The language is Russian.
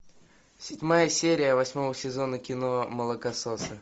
седьмая серия восьмого сезона кино молокососы